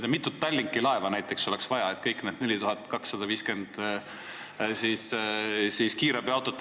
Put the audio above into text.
Kui mitut Tallinki laeva oleks näiteks vaja, et kõik need 4250 kiirabiautot ära mahutada?